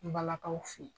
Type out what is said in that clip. Balakaw fe yen